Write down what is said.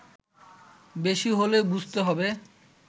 বেশি হলে বুঝতে হবে